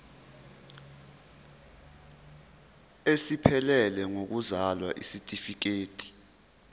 esiphelele sokuzalwa isitifikedi